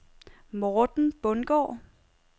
Morten Bundgaard